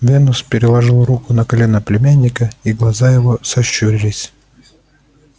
венус переложил руку на колено племянника и глаза его сощурились